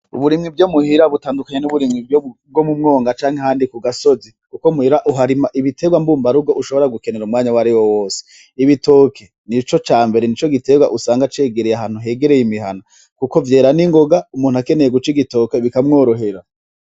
Uburimyi bwo muhira butandukanye n'uburimyi bwo mu mwonga canke ahandi ku gasozi kuko muhira uharima ibiterwa mbumba rugo ushobora gukenera umwanya wariwo wose, Ibitoki nico cambere nico giterwa usanga cegereye ahantu hegereye imihana kuko vyera ni ngoga umuntu akeneye guca igitoki kika mworohera.